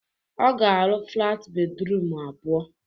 Ọ ga-arụ flat bedrum abụọ.